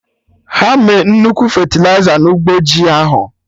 Ha me nnukwu fetịliza na ụgbọ ji ahụ